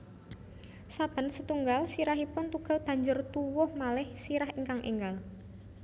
Saben satunggal sirahipun tugel banjur tuwuh malih sirah ingkang énggal